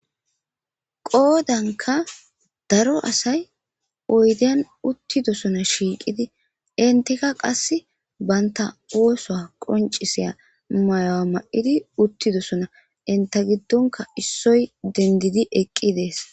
Qoodanka daro asay oydeyan uttidosona shiiqidi intika qas baynta oosoa qoncisiya mayo'a ma'idi uttidosona inta giddonka issoy dendidi eqqi dees